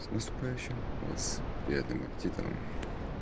с наступающим вас приятным аппетитом